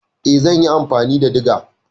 Eh zan yi amfani da diga.